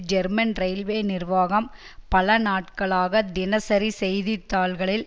German railway நிர்வாகம் பல நாட்களாக தினசரி செய்தித்தாள்களில்